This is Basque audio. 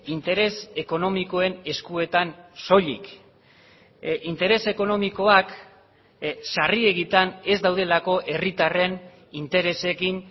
interes ekonomikoen eskuetan soilik interes ekonomikoak sarriegitan ez daudelako herritarren interesekin